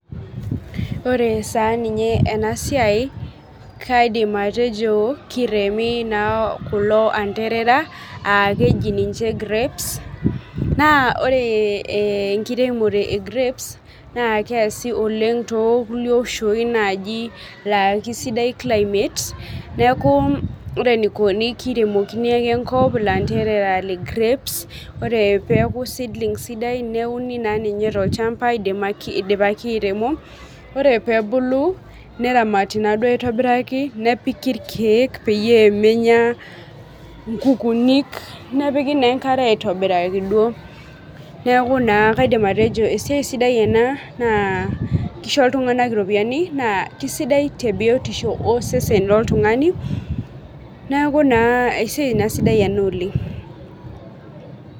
Ore sa ninye enasia kaidim atejo kiremi na kulo anderera aakeji ninche grapes naore enkiremore e grapes na keasi oleng tokulie oshoi lakesidai climate neaku ore enikuni kiremokini ake enkop lanterera le grapes neaku seedlings sidan neuni sininye tolchamba idipaki airemo ore pebulu neramati na aitobiraki nepiki irkiek pemenya nkukunik nepiki enkare aitobiraki esiai sidai ena na kisho ltunganak iropiyiani na kesidai tebiotisho oltungani neaku na esiai sidai oleng.